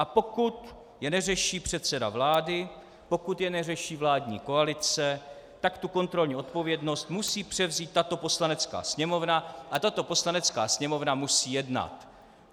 A pokud je neřeší předseda vlády, pokud je neřeší vládní koalice, tak tu kontrolní odpovědnost musí převzít tato Poslanecká sněmovna a tato Poslanecká sněmovna musí jednat."